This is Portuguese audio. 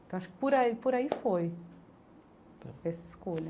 Então, acho que por aí por aí foi essa escolha.